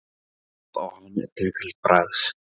Hana langaði svo mikið til að prófa.